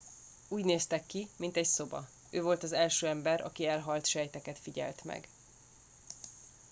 úgy néztek ki mint egy szoba ő volt az első ember aki elhalt sejteket figyelt meg